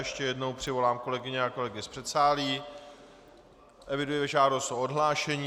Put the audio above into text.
Ještě jednou přivolám kolegyně a kolegy z předsálí, eviduji žádost o odhlášení.